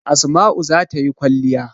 Asma'u za ta yi kwalliya.